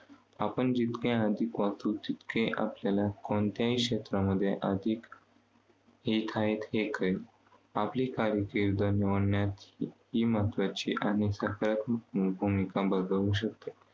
आपण जितके अधिक वाचू तितके आपल्याला कोणत्याही क्षेत्राममध्ये अधिक आपली कारकिर्द निवडण्यासही महत्त्वाची आणि सकारात्मक भूमिका बजावू शकते.